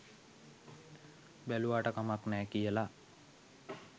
බැලුවාට කමක් නෑ කියලා